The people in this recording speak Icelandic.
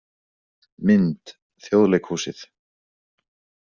Mynd: Þjóðleikhúsið